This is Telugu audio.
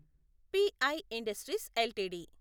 pi industries LTD